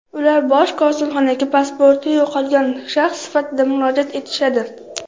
Ular Bosh konsulxonaga pasporti yo‘qolgan shaxs sifatida murojaat etishadi.